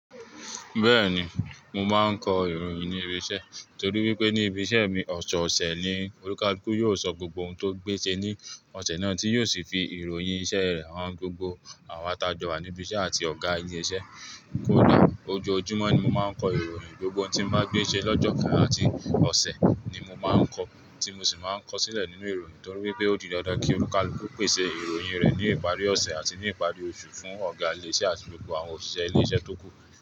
Bẹ́ẹ̀ni, mo máa ń kọ ìròyìn ní ibi iṣẹ́ torí wípé ní ibi iṣẹ́ mi, ọ̀sọ̀ọ̀sẹ̀ ni olùkákù yóò sọ gbogbo ohun tó gbé ṣe ní ọ̀sẹ̀ náà tí yóò sì fi ìròyìn iṣẹ́ rẹ̀ hàn gbogbo àwa atajọ wa ní ibi iṣẹ́ àti ọ̀gá ilé iṣẹ́. Kódà ojoojúmọ́ ni mo máa ń kọ ìròyìn, gbogbo ohun tí n bá gbé ṣe lọ́jọ́ kan àti ọ̀ṣẹ̀ ni mo máa ń kọ, tí mo sì máa ń kọ sílẹ̀ nínú ìròyìn torí wípé ó di dandan kí olùkálúkú pèsè ìròyìn rẹ̀ ní ìparí ọ̀ṣẹ̀ àti ní ìparí oṣù fún ọ̀gá ilé iṣẹ́ àti gbogbo àwọn òṣìṣẹ́ ilé iṣẹ́ tó kù.